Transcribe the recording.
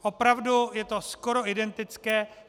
Opravdu je to skoro identické.